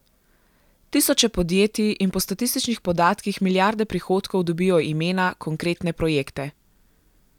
Tisoče podjetij in po statističnih podatkih milijarde prihodkov dobijo imena, konkretne projekte.